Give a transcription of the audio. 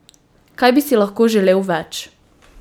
Kaj bi si lahko želel več?